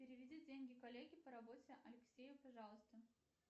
переведи деньги коллеге по работе алексею пожалуйста